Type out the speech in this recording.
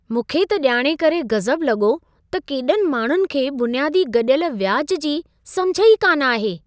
मूंखे त ॼाणे करे गज़ब लॻो त केॾनि माण्हुनि खे बुनियादी गॾियल व्याज जी समिझ ई कान आहे।